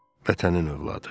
Vətənin övladı.